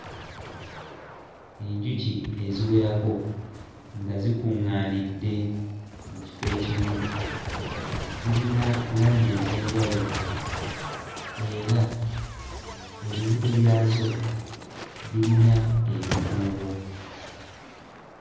Enjuki eziwerako nga zikuᵑᵑaanidde mu kifo ekimu zirina langi ez'enjawulo era ebibuto byazo birina ebikuubo.